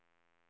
Risbäck